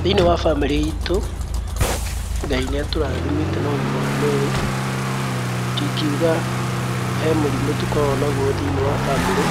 Thĩiniĩ wa bamĩrĩ itũ, Ngai nĩ atũrathimĩte na ũgima wa mwĩrĩ, ndingiuga he mũrimũ tũkoragwo naguo thĩiniĩ wa bamĩrĩ